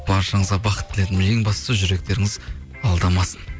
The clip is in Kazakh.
баршаңызға бақыт тіледім ең бастысы жүректеріңіз алдамасын